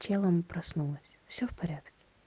тело проснулось все в порядке